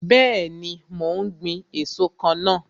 Bẹẹni, mo ń gbin èso kan náà.